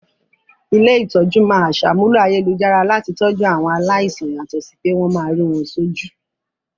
Ilé-ìtójú máa aṣàmúlò ayélujára láti tọjú àwọn aláìsàn yàtọ̀ sí pé wọ́n máa rí wọ́n sójú